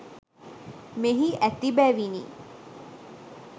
මෙහි ඇති බැවිනි.